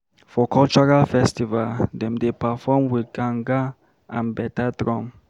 For cultural festival, dem dey perform wit gangan and bata drum.